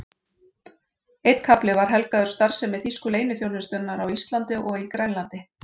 Einn kafli var helgaður starfsemi þýsku leyniþjónustunnar á Íslandi og í Grænlandi.